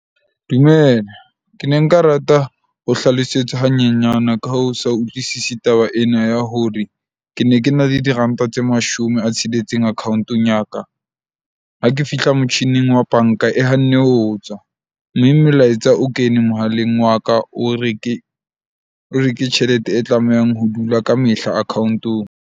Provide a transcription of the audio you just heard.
Dumela, ke ne nka rata ho hlalosetswa hanyenyana ka ho sa utlwisisi taba ena ya hore ke ne ke na le diranta tse mashome a tsheletseng account-ong ya ka. Ha ke fihla motjhining wa bank-a e hanne ho tswa. Mme melaetsa o kene mohaleng wa ka, o re ke tjhelete e tlamehang ho dula kamehla account-ong.